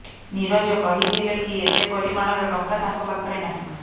ନୀରଜ କହିଥିଲେ କି ଏତେ ପରିମାଣର ଟଙ୍କା ତାଙ୍କ ପାଖରେ ନାହିଁ